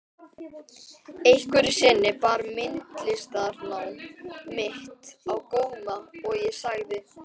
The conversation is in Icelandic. Einhverju sinni bar myndlistarnám mitt á góma og ég sagði